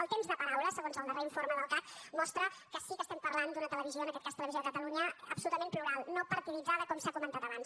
el temps de paraula segons el darrer informe del cac mostra que sí que estem parlant d’una televisió en aquest cas televisió de catalunya absolutament plural no partiditzada com s’ha comentat abans